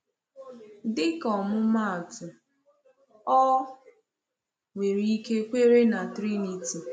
Dịka ọmụmaatụ, ọ nwere ike kwere na Trinity.